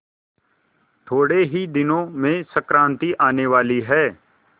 थोड़े ही दिनों में संक्रांति आने वाली है